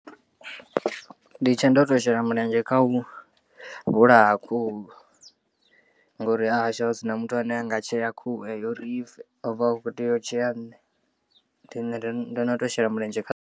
Ndi tshe ndo to shela mulenzhe kha u vhulaya khuhu ngori hahashu ha hu sina muthu ane anga tshea khuhu heyo uri ife hovha hu kho tea u tshea nṋe ndo no to shela mulenzhe kha.